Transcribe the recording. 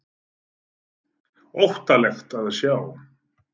Óttalegt að sjá þetta!